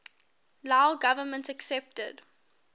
lao government accepted